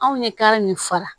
Anw ye kari nin fara